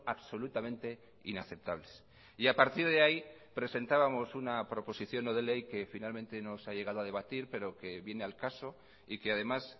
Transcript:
absolutamente inaceptables y a partir de ahí presentábamos una proposición no de ley que finalmente no se ha llegado a debatir pero que viene al caso y que además